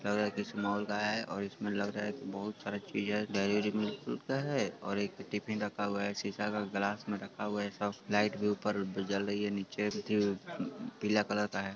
लग रहा है किसी मोल का है| और इसमें लग रहा की बहुत सरे चीज डेयरी डेयरी मिल्क मिलता है| और एक टीफीन रखा हु है| सीसा का ग्लास में रखा हुआ है| सब लाईट भि उप्पर जल रही है| नीचे पिला कलर का है|